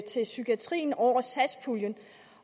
til psykiatrien over satspuljen